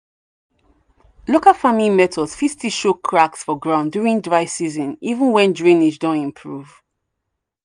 local farming methods fit still show cracks for ground during dry season even when drainage don improve.